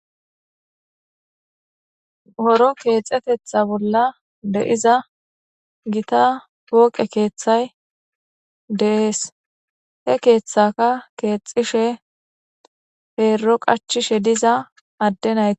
horo keexetetha bolla de7iza gita pooqe keeththay de7ees he keeththaka keexishe peero qachishe diza adde naye.